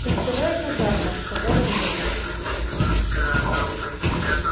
кольцевая казарма сказала мирра